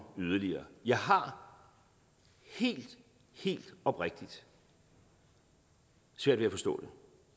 yderligere jeg har helt helt oprigtigt svært ved at forstå det